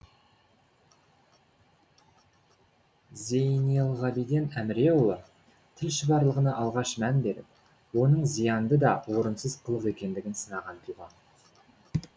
зейнелғабиден әміреұлы тіл шұбарлығына алғаш мән беріп оның зиянды да орынсыз қылық екендігін сынаған тұлға